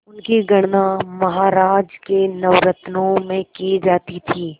उनकी गणना महाराज के नवरत्नों में की जाती थी